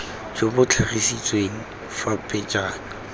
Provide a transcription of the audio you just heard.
jo bo tlhagisitsweng fa pejana